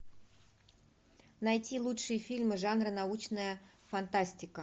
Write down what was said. найти лучшие фильмы жанра научная фантастика